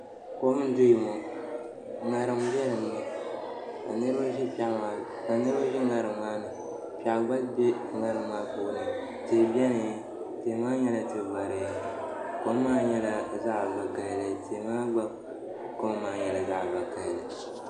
Kom n doya ŋo ŋarim n ʒɛya ŋo ka niraba bɛ ŋarim maa ni piɛri gba bɛ ŋarim maa puuni tihi biɛni tihi maa nyɛla tua vakaɣali kom maa nyɛla zaɣ vakaɣali tihi maa gba kom maa nyɛla zaɣ vakaɣali